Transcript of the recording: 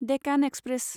Deccan express